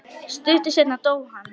Stuttu seinna dó hann.